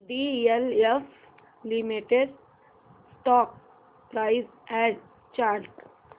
DLF limited stock price and chart